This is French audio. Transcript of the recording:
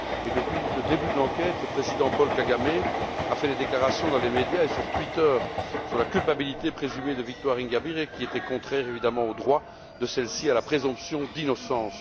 Depuis le début de l'enquête, le président Paul Kagame a fait des déclarations dans les médias et sur Twitter concernant la culpabilité présumée de Victoire Ingabire, qui étaient contraires, évidemment, au droit de celle ci à la présomption d'innocence.